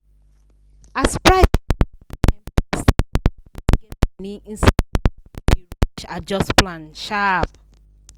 as price for market climb fast everybody wey get money inside dey rush adjust plan sharp.